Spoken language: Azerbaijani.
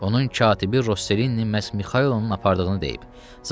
Onun katibi Rosselini məhz Mixailonun apardığını deyib.